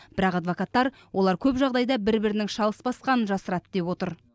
бірақ адвокаттар олар көп жағдайда бір бірінің шалыс басқанын жасырады деп отыр